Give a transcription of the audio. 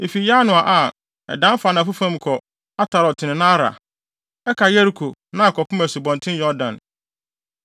Efi Yanoa a, ɛdan fa anafo fam kɔ Atarot ne Naara, ɛka Yeriko, na akɔpem Asubɔnten Yordan.